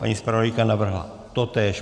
Paní zpravodajka navrhla totéž.